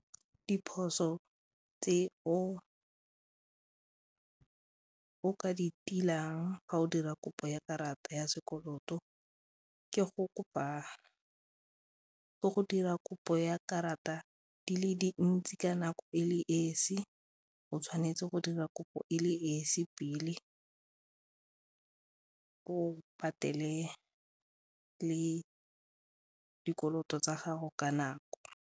Diphoso tse o ka di tiileng ga o dira kopo ya karata ya sekoloto ke go dira kopo ya karata di le dintsi ka nako e le esi go tshwanetse go dira kopo e le esi pele o patele le dikoloto tsa gago ka nako.